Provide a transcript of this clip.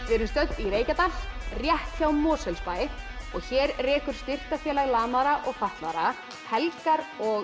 við erum stödd í Reykjadal rétt hjá Mosfellsbæ og hér rekur Styrktarfélag lamaðra og fatlaðra helgar og